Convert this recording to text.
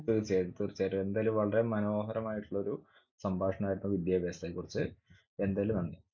തീർച്ചയായും തീർച്ചയായിട്ടും. എന്തായാലും വളരെ മനോഹരമായിട്ടുള്ളൊരു സംഭാഷണമായിരുന്നു വിദ്യാഭ്യാസത്തെക്കുറിച്ച്. എന്തായാലും നന്ദി.